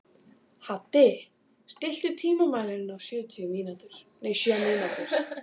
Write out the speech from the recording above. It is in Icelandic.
Haddi, stilltu tímamælinn á sjö mínútur.